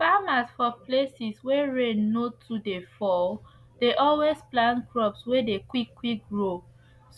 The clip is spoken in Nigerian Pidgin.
farmers for places wey rain no too dey fall dey always plant crops wey dey quick quick grow